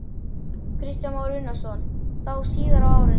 Kristján Már Unnarsson: Þá síðar á árinu?